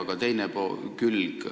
Aga nüüd teine külg.